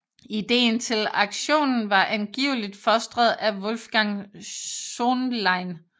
Ideen til aktionen var angiveligt fostret af Wolfgang Söhnlein